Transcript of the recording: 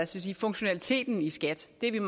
sige funktionaliteten i skat det er